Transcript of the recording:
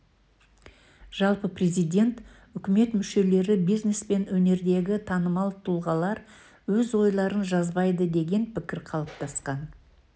жалпы президент үкімет мүшелері бизнес пен өнердегі танымал тұлғалар өз ойларын жазбайды деген пікір қалыптасқан